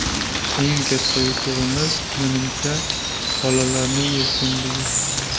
Eng katta yutug‘imiz, menimcha, bolalarning erkinligi.